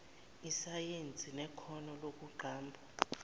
isayensi nekhono lokuqamba